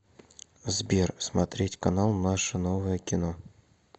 сбер смотреть канал наше новое кино